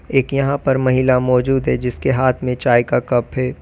एक यहां पर महिला मौजूद है जिसके हाथ में चाय का कप है।